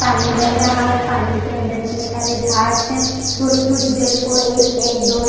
पानी बह रहा है पानी के अंदर इतने सारे झाड्स है थोड़ी थोड़ी देर को एक न एक दो--